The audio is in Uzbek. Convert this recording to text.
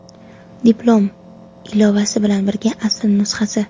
Diplom (ilovasi bilan birga) asl nusxasi.